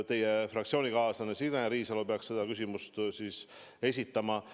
Teie fraktsioonikaaslane Signe Riisalo peaks selle küsimuse siis esitama.